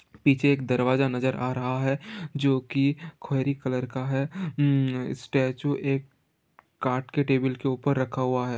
पीछे एक दरवाजा नज़र आ रहा है जोकि खोएरी कलर का है| उम्म्म स्टेच्यू एक काट के टेबल के ऊपर रखा हुआ है।